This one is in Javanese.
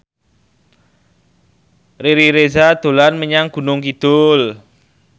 Riri Reza dolan menyang Gunung Kidul